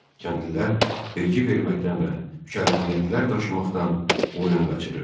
Kəndlilər vergi verməkdən və mükəlləfiyyətlər daşımaqdan boyun qaçırır.